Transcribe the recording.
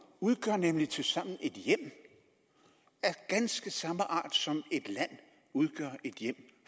udgør nemlig tilsammen et hjem af ganske samme art som et land udgør et hjem